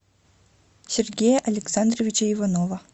сергея александровича иванова